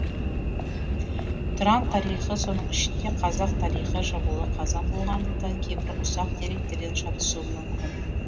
тұран тарихы соның ішінде қазақ тарихы жабулы қазан болғандықтан кейбір ұсақ деректерден шатысуым мүмкін